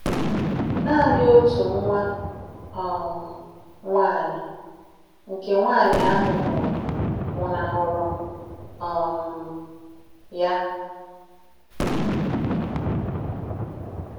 Nanị otu nwa um nwaanyị nke nwaanyị ahụ mụrụ nwụnahụrụ um ya